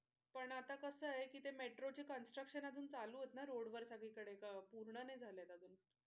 पण आता कस आहे कि ते मेट्रो चे construction अजून चालू आहेत ना road वर सगळीकडे अह पूर्ण नाही झालेत अजून.